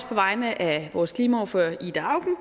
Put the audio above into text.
på vegne af vores klimaordfører ida auken